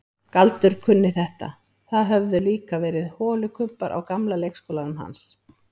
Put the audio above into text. Galdur kunni þetta, það höfðu líka verið holukubbar á gamla leikskólanum hans.